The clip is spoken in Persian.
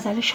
طی